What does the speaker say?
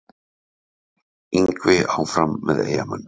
Yngvi áfram með Eyjamönnum